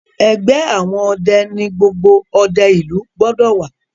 ẹgbẹ àwọn ọdẹ ní gbogbo òde ilu gbódò wá.